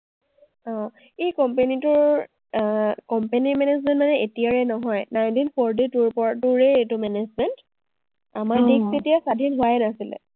অ, এই company টোৰ আহ company management মানে এতিয়াৰে নহয়, ninety forty two ৰ পৰা- two ৰেই এইটো management । আমাৰ দেশ তেতিয়া স্বাধীন হোৱাই নাছিল।